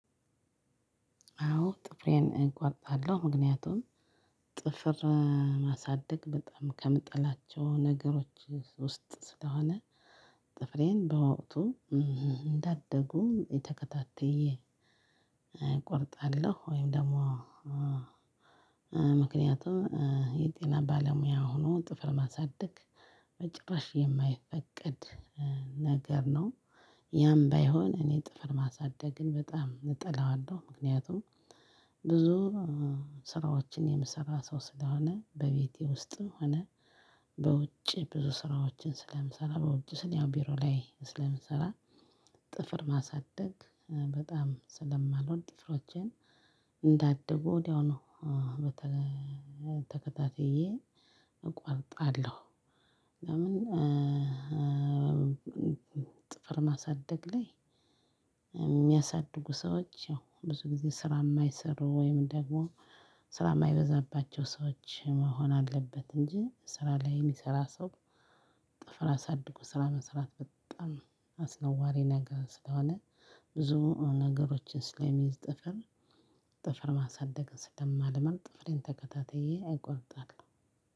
አዎ ጥፍሬን እቆርጣለሁ ምክንያቱም ጥፍር ማሳደግ በጣም ከምጠላቸው ነገሮች ውስጥ ስለሆነ ጥፍሬን በወቅቱ እንዳደጉ ተከታትየ እቆርጣለሁ። ወይም ደግሞ ምክንያቱም የጤና ባለሙያ ሆኖ ጥፍር ማሳደግ በጭራሽ የማይፈቀድ ነገር ነው። ያም ባይሆን እኔ ጥፍር ማሳደግን በጣም እጠላዋለሁ። ምክንያቱም ብዙ ስራዎችን የምሰራ ሰው ስለሆነ በቤቴ ውስጥ ሆነ በውጭ ብዙ ስራዎችን ስለምሰራ በውጭ ስል ያው ቢሮ ላይ ስለምሰራ ጥፍር ማሳደግ በጣም ስለማልወድ ጥፍሮችን እንዳደጉ ወዲያውኑ ተከታትየ እቆርጣለሁ። ለምን? ጥፍር ማሳደግ ላይ ሚያሳድጉ ሰዎች ያው ብዙ ጊዜ ስራ ማይሰሩ ወይም ደግሞ ስራ ማይበዛባቸው ሰዎች መሆን አለበት እንጂ ስራ ላይ ሚሰራ ሰው ጥፍር አሳድጎ ስራ መስራት በጣም አስነዋሪ ነገር ስለሆነ። ብዙ ነገሮችን ስለሚይዝ ጥፍር ጥፍር ማሳደግ ስለማልመረጥ ጥፍሬን ተከታትየ እቆርጣለው።